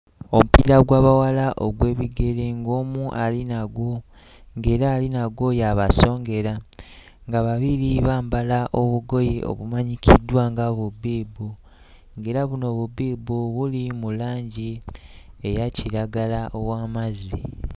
Omupiira gw'abawala ogw'ebigere ng'omu ali nagwo ng'era ali nagwo ye abasongera nga babiri bambala obugoye obumanyikiddwa nga bubbiibu ng'era buno bubbiibu buli mu langi eya kiragala ow'amazzi.